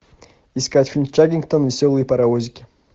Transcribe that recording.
искать фильм чаггингтон веселые паровозики